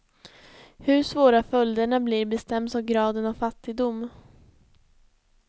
Hur svåra följderna blir bestäms av graden av fattigdom.